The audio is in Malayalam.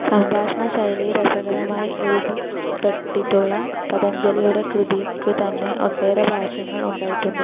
സംഭാഷണശൈലിയിൽ രസകരമായി എഴുതപ്പെട്ടിട്ടുള്ള പതഞ്ജലിയുടെ കൃതിയ്ക്കു തന്നെ ഒട്ടേറെ ഭാഷ്യങ്ങൾ ഉണ്ടായിട്ടുണ്ട്.